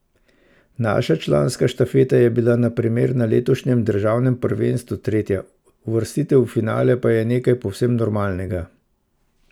Naša članska štafeta je bila na primer na letošnjem državnem prvenstvu tretja, uvrstitev v finale pa je nekaj povsem normalnega.